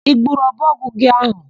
I gburu ọbọgwụ gị áhụ̀?